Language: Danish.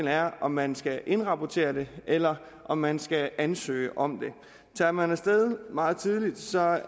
er om man skal indrapportere det eller om man skal ansøge om det tager man af sted meget tidligt